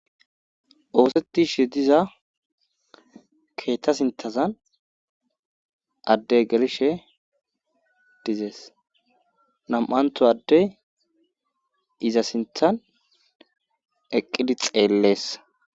oosetishe diza keetta sinthazan adde gershe dizees nam'anthu addey iza sinthan eqqidi xeellees